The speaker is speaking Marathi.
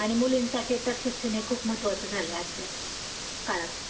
हा आणि मुलींसाठी शिक्षण तर खूप महत्त्वाचं झालेलं आहे आजच्या काळात.